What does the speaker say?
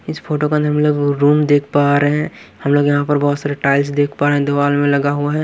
इस फोटो के अंदर हम लोग रूम देख पा रहे हैं हम लोग यहां पर बहुत सारे टाइल्स देख पा रहे हैं दीवाल में लगा हुआ है।